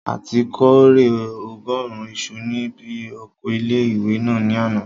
A ti kórè ọgọ́rùn isu ní bi oko ilé-ìwé náà ní àná